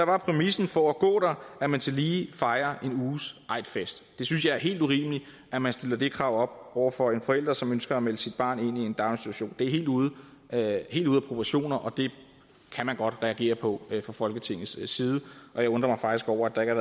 er præmissen for at gå der at man tillige fejrer en uges eidfest jeg synes det er helt urimeligt at man stiller det krav over for en forælder som ønsker at melde sit barn ind i en daginstitution det er helt ude af proportioner og det kan man godt reagere på fra folketingets side og jeg undrer mig faktisk over der